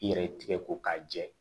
I yɛrɛ ye tigɛ ko k'a jɛ